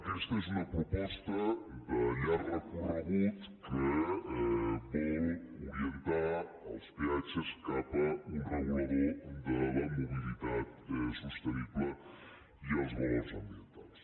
aquesta és una proposta de llarg recorregut que vol orientar els peatges cap a un regulador de la mobilitat sostenible i els valors ambientals